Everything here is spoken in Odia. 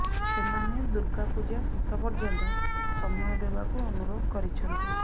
ସେମାନେ ଦୁର୍ଗାପୂଜ ଶେଷ ପର୍ଯ୍ୟନ୍ତ ସମୟ ଦେବାକୁ ଅନୁରୋଧ କରିଛନ୍ତି